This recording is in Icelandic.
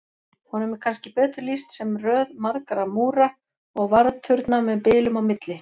Honum er kannski betur lýst sem röð margra múra og varðturna með bilum á milli.